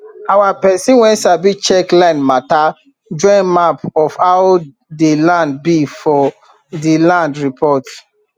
our pesin wen sabi check land mata join map of how dey land be for dey land reports